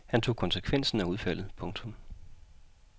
Han tog konsekvensen af udfaldet. punktum